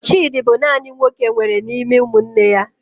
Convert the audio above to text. Chidi bụ naanị nwoke enwere n'ime ụmụnne ya.